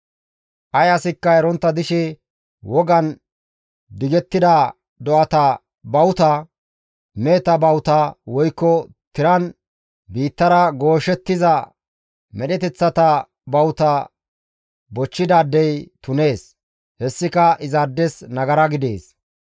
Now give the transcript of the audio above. «Ay asikka erontta dishe wogan digettida do7ata bawuta, meheta bawuta woykko tiran biittara gooshettiza medheteththata bawuta bochchidaadey tunees; hessika izaades nagara gidees.